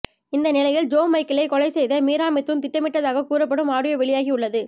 இந்த நிலையில் ஜோ மைக்கேலை கொலை செய்ய மீரா மிதூன் திட்டமிட்டதாகக் கூறப்படும் ஆடியோ வெளியாகி உள்ளது